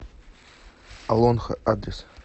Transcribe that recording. олонхо адрес